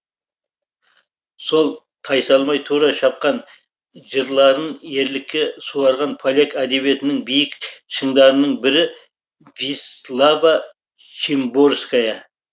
сол тайсалмай тура шапқан жырларын ерлікке суарған поляк әдебиетінің биік шыңдарының бірі вислава шимборская